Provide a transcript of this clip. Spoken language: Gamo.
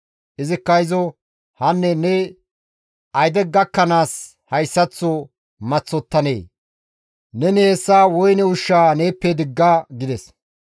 Izikka izo, «Hanne ne ayde gakkanaas hayssaththo maththottanee? Neni hessa woyne ushshaa neeppe digga!» gides.